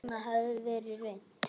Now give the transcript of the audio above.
Alt annað hafði verið reynt.